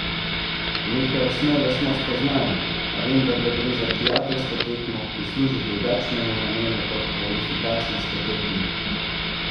Neke osnove smo spoznali, a vendarle gre za prijateljsko tekmo, ki služi drugačnemu namenu kot kvalifikacijske tekme.